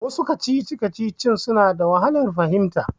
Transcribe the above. Wasu kacici-kacicicin suna da wahalar fahimta.